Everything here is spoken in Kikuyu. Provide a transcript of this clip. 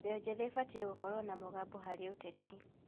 Mbeũ njĩthĩ ĩbatiĩ gũkorwo na mũgambo harĩ ũteti.